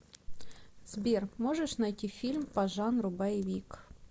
сбер можешь найти фильм по жанру боевик